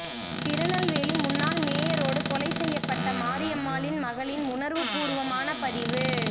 திருநெல்வேலி முன்னாள் மேயரோடு கொலை செய்யப்பட்ட மாரியம்மாளின் மகளின் உணர்வுபூர்வமான பதிவு